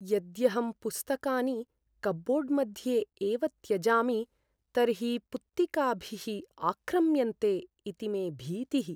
यद्यहं पुस्तकानि कप्बोर्ड् मध्ये एव त्यजामि, तर्हि पुत्तिकाभिः आक्रम्यन्ते इति मे भीतिः।